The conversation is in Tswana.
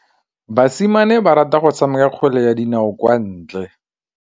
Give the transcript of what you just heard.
Basimane ba rata go tshameka kgwele ya dinaô kwa ntle.